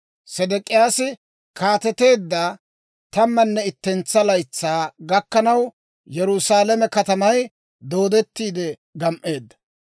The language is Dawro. Sedek'iyaasi kaateteedda tammanne ittentsa laytsaa gakkanaw, Yerusaalame katamay dooddettiide gam"eedda.